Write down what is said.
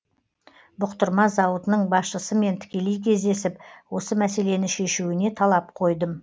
бұқтырма зауытының басшысымен тікелей кездесіп осы мәселені шешуіне талап қойдым